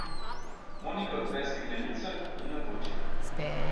Monika odpre steklenico in natoči.